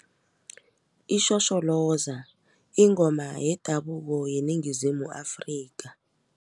Ishosholoza yingoma yendabuko yeNingizimu Afrika.